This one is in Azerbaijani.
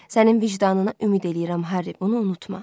Sənin vicdanına ümid eləyirəm, Harri, onu unutma.